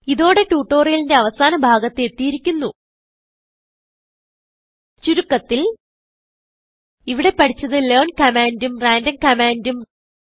ഇതോടെ ട്യൂട്ടോറിയലിന്റെ അവസാന ഭാഗത്ത് എത്തിയിരിക്കുന്നു ചുരുക്കത്തിൽ ഇവിടെ പഠിച്ചത് ലെയർൻ കമാൻഡും റാൻഡം കമാൻഡും